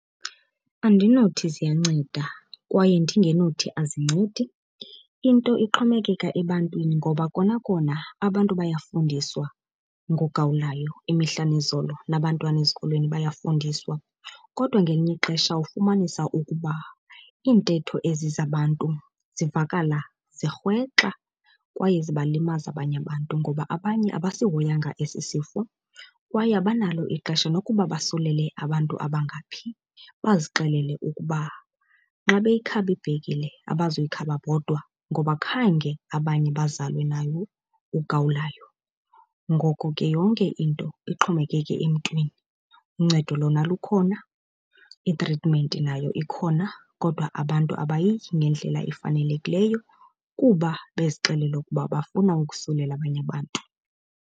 Andinothi ziyanceda kwaye ndingenothi azincedi, into ixhomekeka ebantwini. Ngoba kona kona abantu bayafundiswa ngogawulayo imihla nezolo, nabantwana ezikolweni bayafundiswa. Kodwa ngelinye ixesha ufumanisa ukuba iintetho ezi zabantu zivakala zirhwexa kwaye zibalimaza abanye abantu ngoba abanye abasihoyanga esi sifo kwaye abanalo ixesha nokuba basulele abantu abangaphi. Bazixelela ukuba nxa beyikhaba ibhekile abazuyikhaba bodwa, ngoba khange abanye bazalwe nayo ugawulayo. Ngoko ke yonke into ixhomekeke emntwini. Uncedo lona lukhona, itritimenti nayo ikhona kodwa abantu abayityi ngendlela efanelekileyo kuba bezixelela ukuba bafuna ukusukela abanye abantu.